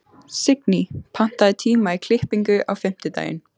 Signý, pantaðu tíma í klippingu á fimmtudaginn.